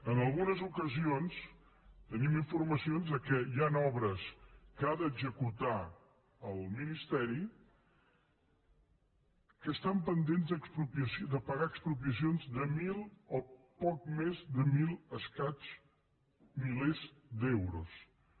en algunes ocasions tenim informacions que hi han obres que ha d’executar el ministeri que estan pendents de pagar expropiacions de mil o poc més de mil i escaig milers d’euros